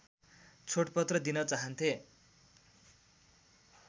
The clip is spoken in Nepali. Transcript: छोडपत्र दिन चाहन्थे